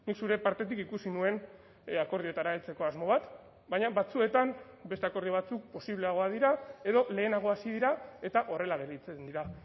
zure partetik ikusi nuen akordioetara heltzeko asmo bat baina batzuetan beste akordio batzuk posibleagoak dira edo lehenago hasi dira eta horrela gelditzen dira